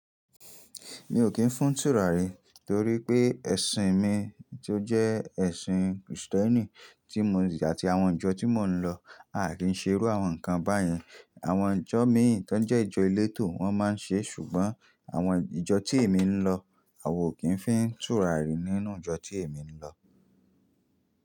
Mi ò kí ń fún tùràrí torí pé ẹ̀sìn mi tó jẹ́ ẹ̀sìn Kristẹni tí mò n jẹ́ àti àwọn ìjọ tí mò ń lọ à kí ń ṣe irú àwọn nǹkan báyìí. Àwọn ìjọ míì tí wọ́n jẹ́ ìjọ elétò wọ́n máa ń ṣe ṣùgbọ́n àwọn ìjọ tí èmi ń lọ, a ò kí ń fí ń tùràrí nínú ìjọ tí èmi ń lọ.